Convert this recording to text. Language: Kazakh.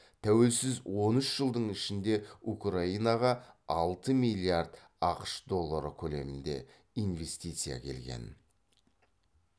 тәуелсіз он үш жылдың ішінде украинаға алты миллиард ақш доллары көлемінде инвестиция келген